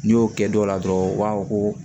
N'i y'o kɛ dɔ la dɔrɔn u b'a fɔ ko